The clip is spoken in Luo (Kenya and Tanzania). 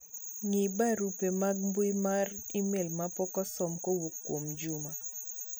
ng'i barupe mag mbui mar email mapok osom kowuok kuom Juma